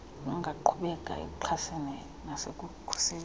ungaqhubeka ekuxhaseni nasekukhuliseni